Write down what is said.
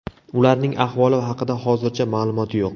Ularning ahvoli haqida hozircha ma’lumot yo‘q.